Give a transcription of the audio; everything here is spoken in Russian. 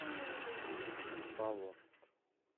павловск